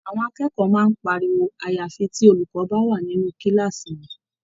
Àwọn akẹ́kọ̀ọ́ máa ń pariwo àyàfi tí olùkọ́ bá wà nínú kíláàsì wọn.